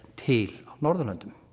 til á Norðurlöndum